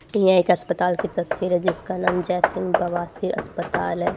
टी_आई का अस्पताल की तस्वीर है जिसका नाम जैत सिंह बवासीर अस्पताल हैं।